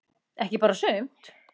Ekki bara sumt.